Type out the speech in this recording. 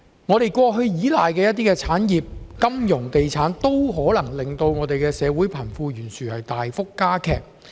香港過去依賴的部分產業，例如金融業、地產業，均可能令社會貧富懸殊大幅加劇。